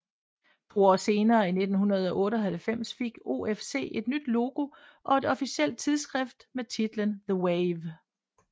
To år senere i 1998 fik OFC et nyt logo og et officielt tidsskrift med titlen The Wave